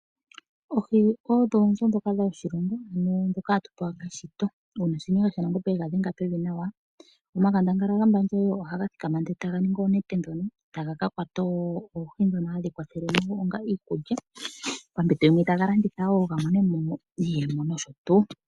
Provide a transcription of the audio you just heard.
Oohi odho oonzo ndhoka dhoshilongo ano hatu pewa keshito. Ngaashi ngaa ngele Nashenga shaNangombe yega dhenge nawa pevi omakandangala gombandje ohaga thikama etaga ningi oonete . Ohaga kakwata oohi ndhono hadhi kwathele onga iikulya , dhimwe taga landitha wo gamonemo iiyemo noshotuu.